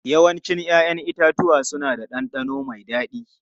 Yawancin 'ya'yan itatuwa suna da ɗanɗano mai dadi.